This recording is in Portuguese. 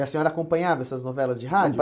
E a senhora acompanhava essas novelas de rádio?